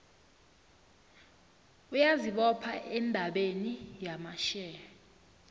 uyazibopha endabeni yamashare